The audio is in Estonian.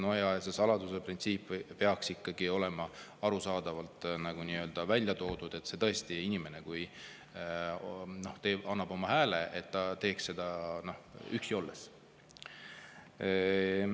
No ja salastatuse printsiip peaks ikkagi olema arusaadavalt välja toodud, et oleks tõesti selge, et inimene annab oma hääle üksi olles.